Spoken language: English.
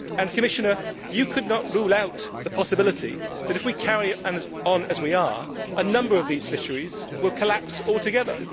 Commissioner, you could not rule out the possibility that, if we carry on as we are, a number of these fisheries will collapse altogether.